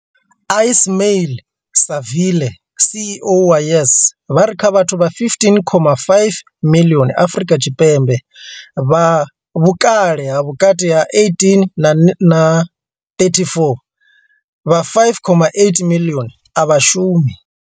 Ismail-Saville CEO wa YES, vha ri kha vhathu vha 15.5 miḽioni Afrika Tshipembe vha vhukale ha vhukati ha 18 na 34, vha 5.8 miḽioni a vha shumi.